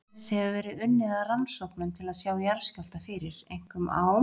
Hérlendis hefur verið unnið að rannsóknum til að sjá jarðskjálfta fyrir, einkum á